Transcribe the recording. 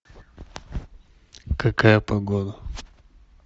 какая погода